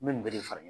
Min be de faga